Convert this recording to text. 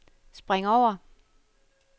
spring over